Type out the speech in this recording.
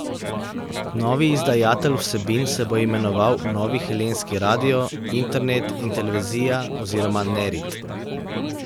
Novi izdajatelj vsebin se bo imenoval Novi helenski radio, internet in televizija oziroma Nerit.